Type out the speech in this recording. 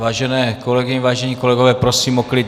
Vážené kolegyně, vážení kolegové, prosím o klid.